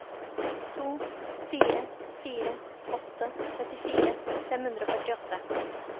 to fire fire åtte trettifire fem hundre og førtiåtte